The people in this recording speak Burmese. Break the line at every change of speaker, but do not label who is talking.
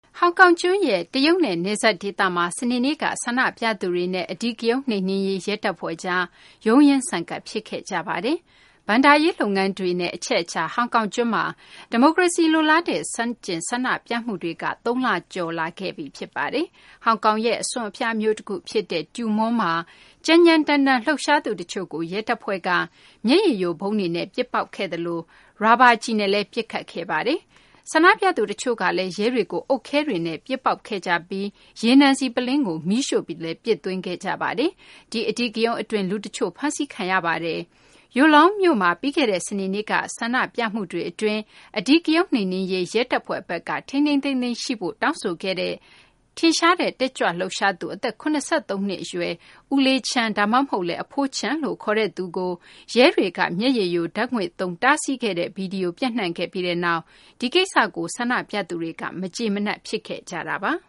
ဟောင်ကောင်ကျွန်းရဲ့ တရုတ်နဲ့ နယ်စပ်ဒေသမှာ စနေနေ့က ဆန္ဒပြသူတွေနဲ့ အဓိကရုဏ်းနှိမ်နင်းရေး ရဲတပ်ဖွဲ့ကြား ရုန်းရင်းဆန်ခတ် ဖြစ်ခဲ့ကြပါတယ်။ ဘဏ္ဍာရေး လုပ်ငန်းတွေရဲ့ အချက်အချာ ဟောင်ကောင်ကျွန်းမှာ ဒီမိုကရေစီလိုလားတဲ့ ဆန့်ကျင် ဆန္ဒပြမှုတွေက သုံးလကျော် ရှိခဲ့ပါပြီ။ ဟောင်ကောင်ရဲ့ အစွန်အဖျားမြို့ တခုဖြစ်တဲ့ Tue Mun မှာ ကြမ်းကြမ်းတမ်းတမ်း လှုပ်ရှားသူတချို့ကို ရဲတပ်ဖွဲ့က မျက်ရည်ယိုဗုံးတွေနဲ့ ပစ်ပေါက်ခဲ့သလို ရာဘာကျည်နဲ့လည်း ပစ်ခတ်ခဲ့ပါတယ်။ ဆန္ဒပြသူတချို့ကလည်း ရဲတွေကို အုတ်ခဲတွေနဲ့ ပစ်ပေါက်ခဲ့ကြပြီး ရေနံဆီပုလင်းကို မီးရှို့ပြီးလည်း ပစ်သွင်းခဲ့ကြပါတယ်။ ဒီအဓိကရုဏ်းအတွင်း လူတချို့ ဖမ်းဆီးခံခဲ့ရပါတယ်။ Yuen Long မြို့မှာ ပြီးခဲ့တဲ့ စနေနေ့က ဆန္ဒပြမှုတွေအတွင်း အဓိကရုဏ်းနှိမ်နင်းရေး ရဲတပ်ဖွဲ့ဘက်က ထိန်းထိန်းသိမ်းသိမ်းရှိဖို့ တောင်းဆိုခဲ့တဲ့ ထင်ရှားတဲ့ တက်ကြွလှုပ်ရှားသူ အသက် ၇၃ နှစ်အရွယ် ဦးလေးချန်း ဒါမှမဟုတ်လည်း အဘိုးချန်းလို့ ခေါ်သူကို ရဲတွေက မျက်ရည်ယိုဓာတ်ငွေ့သုံးပြီး တားဆီးခဲ့တဲ့ ဗွီဒီယို ပျံ့နှံ့ခဲ့ပြီးနောက် ဒီကိစ္စကို ဆန္ဒပြသူတွေက မကျေမနပ် ဖြစ
်ခဲ့ကြတာပါ။